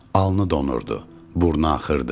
Alnı donurdu, burnu axırdı.